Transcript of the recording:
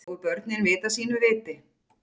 Og börn vita sínu viti.